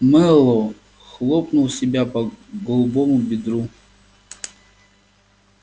мэллоу хлопнул себя по голубому бедру